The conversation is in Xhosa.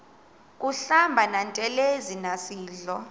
kuhlamba ngantelezi nasidlo